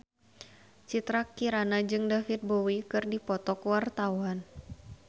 Citra Kirana jeung David Bowie keur dipoto ku wartawan